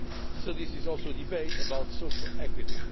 So this is also a debate about social equity.